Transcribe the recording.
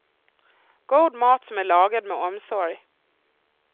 God mat som är lagad med omsorg.